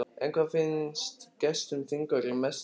En hvað finnst gestum þingvalla mest virðis?